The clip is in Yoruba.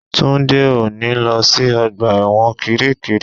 Túndé ò ní lọ sí ọgbà ẹ̀wọ̀n kiríkirì